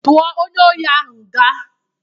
Tụo onye ori ahụ nga!